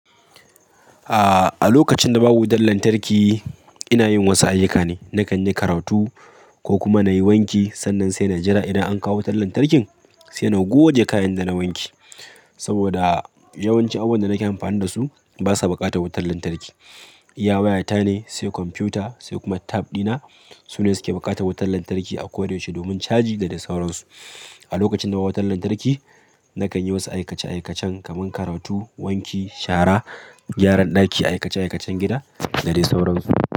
Ah, a lokacin da babu wutar lantarki ina yin wasu ayyuka ne. Nakan yi karatu ko kuma na yi wanki. Sannan sai na jira idan an kawo wutar lantarkin, sai na goge kayan da na wanke. Saboda yawanci abubuwan da nake amfani da su basa buƙatar wutar lantarki. Iya wayata ne, sai kwamfuta sai kuma tab dina sune suke buƙatar wutar lantarki a koda yaushe domin caji da dai sauransu. A lokacin da babu wutar lantarki nakan yi wasu aikace-aikacen kamar karatu, wanki, shara, gyaran ɗaki, aikace-aikacen gida da dai sauransu.